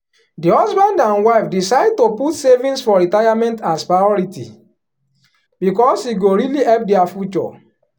the husband and wife decide to put savings for retirement as priority because e go really help dia future.